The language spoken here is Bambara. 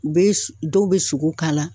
U be dɔw be sogo k'a la